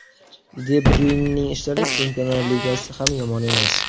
De Bryuynening ishlari Chempionlar Ligasida ham yomon emas.